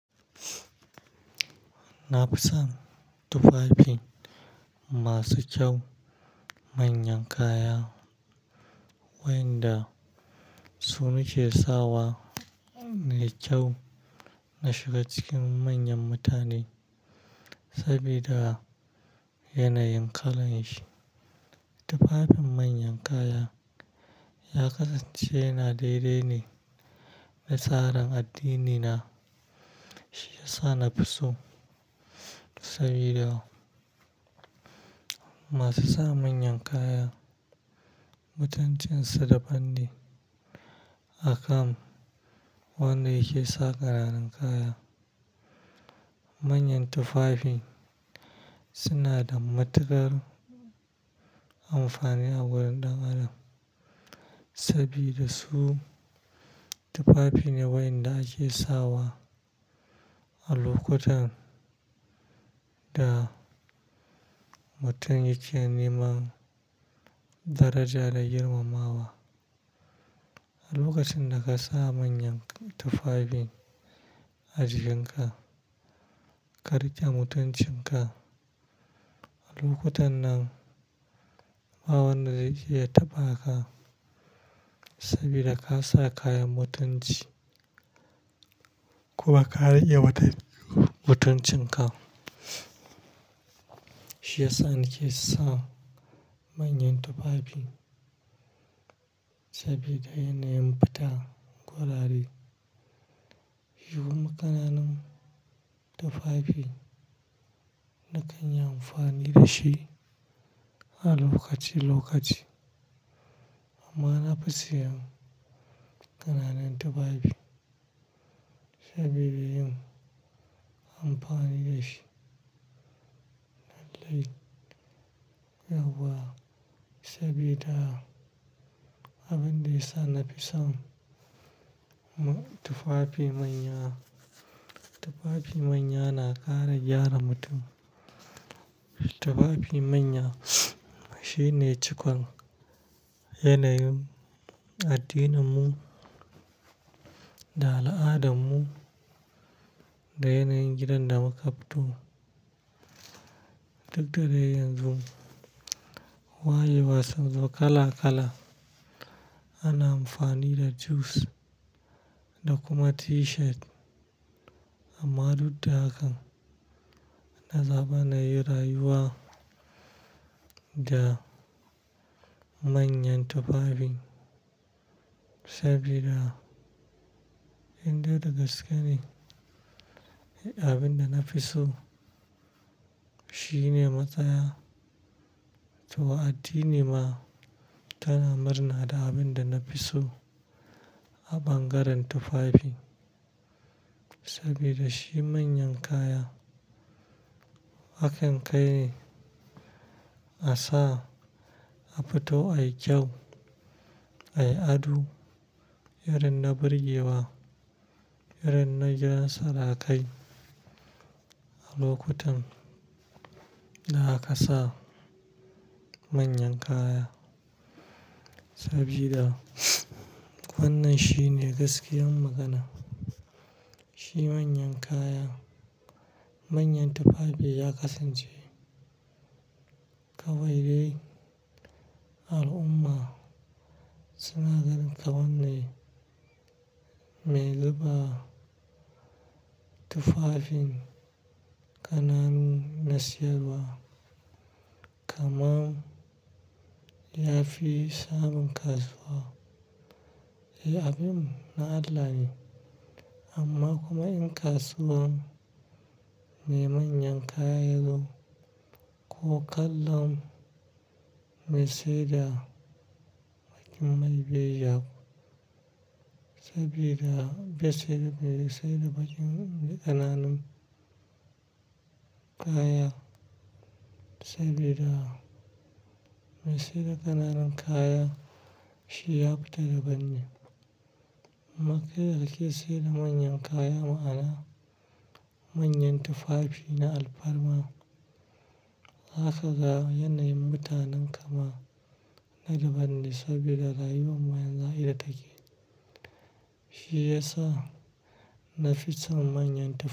Na fi son tufafin masu kyau manyan kaya, wayanda su nake sawa me kyau na shiga cikin manyan mutane sabida yanayin kalan shi. Tufafin manyan kaya ya kasance yana daidai ne da tsarin addinina. Shi ya sa na fi so sabida masu sa manyan kaya mutuncinsu da banne akan wanda yake sa ƙananan kaya. Manyan tufafi suna da matuƙar amfani a wurin ɗan adam sabida su tufafi ne wayanda ake sawa a lokutan da mutum yake neman daraja da girmamawa. A lokacin da ka sa manyan tufafin a jikinka, ka riƙe mutuncinka. Lokutannan bawanda zai iya tabaka saboda kasa kayan mutunci kuma ka rike mutuncinka. Shi ya sa nake sa manyan tufafi sabida yanayin fita gurare. Shikuma kananun tufafi nakanyi amfani da shi a lokaci-lokaci amma na fi siyan ƙananan tufafi saboda yin amfani da shi nan laifi yauwa sabida abin da ya sa na fi son tufafi manya. Tufafi manya na ƙara gyara mutum. Tufafi manya shine cikon yanayin addininmu da al'adarmu da yanayin gidan da muka fito. Duk da dai yanzu wayewas un zo kala-kala ana amfani da jus da kuma t-shirt amma duk da hakan, na zaɓa na yi rayuwa da manyan tufafin sabida indai da gaske ne abin da na fi so shine matsaya. To addini ma tana murna da abin da na fi so a bangaren tufafi sabida shi manyan kaya hakan kai ne a sa, a fito, a yi kyau, a yi ado, irin na birgewa, irin na gidan sarakai a lokutan da aka sa manyan kaya sabida wannan shi ne gaskiyar magana. Shi manyan kaya, manyan tufafi ya kasance kawai dai al'umma suna ganin kawannai. Me zuba tufafin ƙananu na siyarwa kamar yafi samun kasuwa. Abun na Allah ne, amma kuma in kasuwar mai manya kaya yazo ko kallon mai saida ba'a fiya mai biyayya ba sabida bai saida-- bai saida bakin ƙananan kuma saboda mai saida kananun kaya shi ya fita dabanne dan kai yanda ke saida manyan kaya ma'ana manyan tufafi na alfarma. Zaka ga yanayin mutanen kama na da banɗi sabida rayuwa manya ita take. Shi ya sa na fi son manyan tufa.